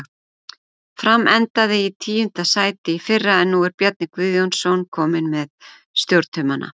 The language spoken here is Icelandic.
Fram endaði í tíunda sæti í fyrra en nú er Bjarni Guðjónsson kominn með stjórnartaumana.